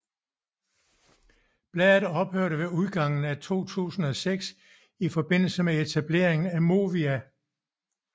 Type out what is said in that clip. Bladet ophørte ved udgangen af 2006 i forbindelse med etableringen af Movia